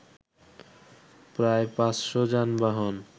প্রায় পাঁচশ যানবাহন